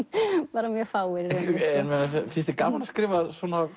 bara mjög fáir í rauninni finnst þér gaman að skrifa um